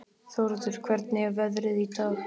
Þórður, hvernig er veðrið í dag?